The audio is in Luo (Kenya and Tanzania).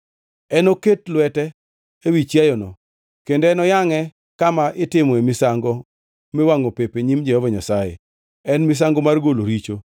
Enoket lwete ewi chiayono, kendo enoyangʼe kama itimoe misango miwangʼo pep e nyim Jehova Nyasaye. En misango mar golo richo.